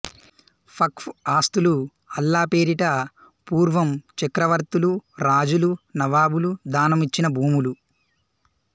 వక్ఫ్ ఆస్తులు అల్లా పేరిట పూర్వం చక్రవర్తులు రాజు లు నవాబులు దానం యిచ్చిన భూములు